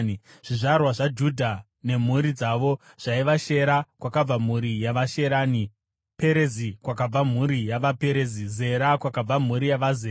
Zvizvarwa zvaJudha nemhuri dzavo zvaiva: Shera, kwakabva mhuri yavaSherani; Perezi, kwakabva mhuri yavaPerezi; Zera, kwakabva mhuri yavaZera;